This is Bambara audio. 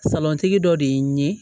Salɔntigi dɔ de ye n ye